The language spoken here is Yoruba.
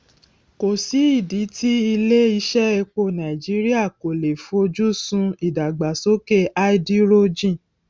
kòsí ìdí tí ilé iṣé epo nàìjíríà kò le foju sun ìdàgbàsókè háídírójìn